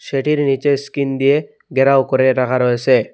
সেটির নিচে স্কিন দিয়ে ঘেরাও করে রাখা রয়েছে।